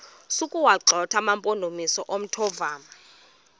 sokuwagxotha amampondomise omthonvama